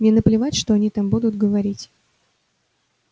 мне наплевать что они там будут говорить